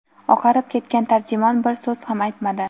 Oqarib ketgan tarjimon bir so‘z ham aytmadi.